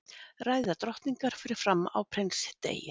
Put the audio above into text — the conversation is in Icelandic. ræða drottningar fer fram á prinsdegi